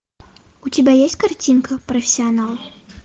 у тебя есть картинка профессионал